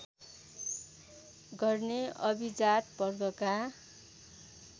गर्ने अभिजात वर्गका